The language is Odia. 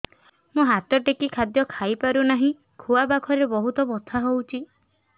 ମୁ ହାତ ଟେକି ଖାଦ୍ୟ ଖାଇପାରୁନାହିଁ ଖୁଆ ପାଖରେ ବହୁତ ବଥା ହଉଚି